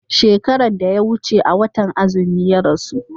shekaran da ya wuce a watan azumi ya rasu